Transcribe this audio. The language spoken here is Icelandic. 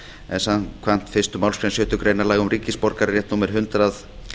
en samkvæmt fyrstu málsgrein sjöttu grein laga um ríkisborgararétt númer hundrað